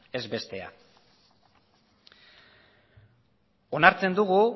ez bestea onartzen dugu